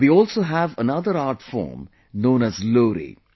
we also have another art form known as Lori